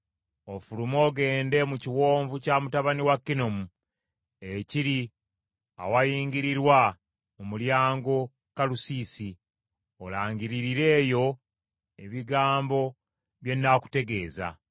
ofulume ogende mu kiwonvu kya mutabani wa Kinomu ekiri awayingirirwa mu mulyango Kalusiisi, olangiririre eyo ebigambo bye nnaakutegeeza.